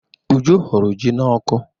Uju hụrụ ji n'ọkụ.